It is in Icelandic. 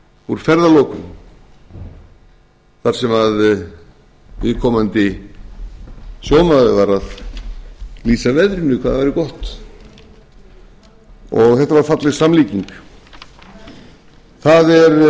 úr ferðalokum þar sem viðkomandi sjómaður var að lýsa veðrinu hvað það væri gott og þetta var falleg samlíking